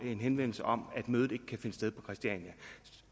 en henvendelse om at mødet ikke kan finde sted på christiania